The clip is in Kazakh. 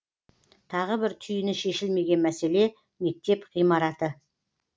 тағы бір түйіні шешілмеген мәселе мектеп ғимараты